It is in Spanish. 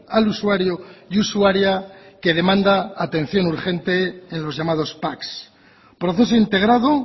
al usuario y usuaria que demanda atención urgente en los llamados pac proceso integrado